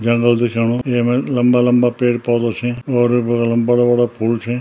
जंगल दिख्याणु येमा लंबा-लंबा पेड़-पौधा छीं और बगल म बड़ा-बड़ा फूल छीं।